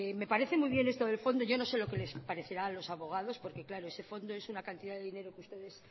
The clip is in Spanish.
me parece muy bien esto del fondo yo no sé lo que les parecerá a los abogados porque claro ese fondo es una cantidad de dinero que ustedes